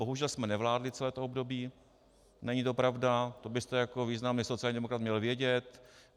Bohužel jsme nevládli celé to období, není to pravda, to byste jako významný sociální demokrat měl vědět.